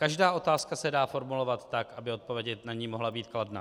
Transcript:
Každá otázka se dá formulovat tak, aby odpověď na ni mohla být kladná.